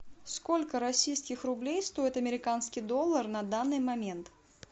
сколько российских рублей стоит американский доллар на данный момент